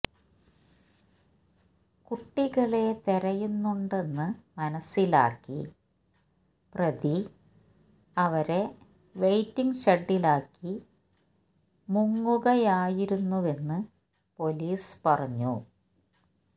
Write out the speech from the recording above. കുട്ടികളെ തെരയുന്നുണ്ടെന്ന് മനസ്സിലാക്കി പ്രതി അവരെ വെയ്റ്റിങ് ഷെഡിലാക്കി മുങ്ങുകയായിരുന്നുവെന്ന് പൊലീസ് പറഞ്ഞു